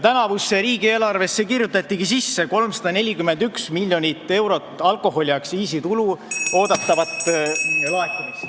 Tänavusse riigieelarvesse kirjutatigi sisse 341 miljonit eurot alkoholiaktsiisitulu oodatavat laekumist.